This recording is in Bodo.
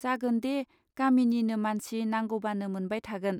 जागोन दे गामिनिनो मानसि नांगौबानो मोनबाय थागोन.